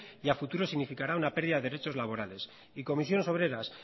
y a futuro significará una pérdida de derechos laborales y comisiones obreras